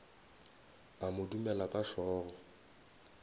a mo dumela ka hlogo